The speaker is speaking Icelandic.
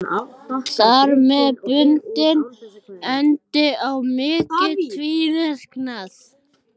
Þar með bundinn endi á mikinn tvíverknað.